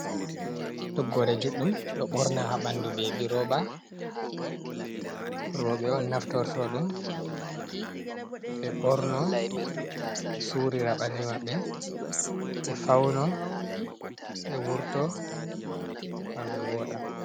Toggore judɗum ɗo borna habandu be be roba, roɓe on naftorto ɗum, ɓe ɓorno ɓe surira ɓallimaɓɓe, ɓe fauno ɓe wurto gam ɓe woɗa.